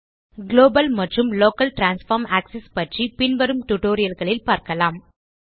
global மற்றும் local transform axis பற்றி பின்வரும் டியூட்டோரியல் களில் பார்க்கலாம்